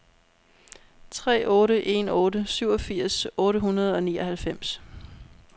tre otte en otte syvogfirs otte hundrede og nioghalvfems